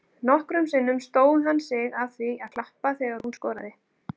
Nokkrum sinnum stóð hann sig að því að klappa þegar hún skoraði.